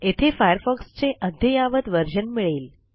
येथे Firefoxचे अद्ययावत व्हर्शन मिळेल